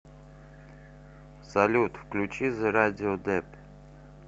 салют включи зе радио депт